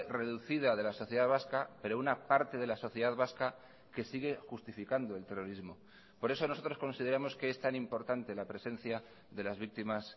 reducida de la sociedad vasca pero una parte de la sociedad vasca que sigue justificando el terrorismo por eso nosotros consideramos que es tan importante la presencia de las víctimas